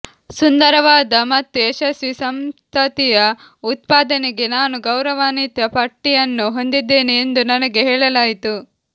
ಸುಂದರವಾದ ಮತ್ತು ಯಶಸ್ವಿ ಸಂತತಿಯ ಉತ್ಪಾದನೆಗೆ ನಾನು ಗೌರವಾನ್ವಿತ ಪಟ್ಟಿಯನ್ನು ಹೊಂದಿದ್ದೇನೆ ಎಂದು ನನಗೆ ಹೇಳಲಾಯಿತು